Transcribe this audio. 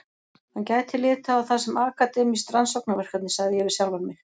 Hann gæti litið á það sem akademískt rannsóknarverkefni, sagði ég við sjálfan mig.